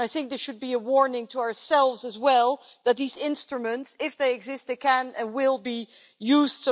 I think this should be a warning to ourselves as well that these instruments, if they exist, can and will be used.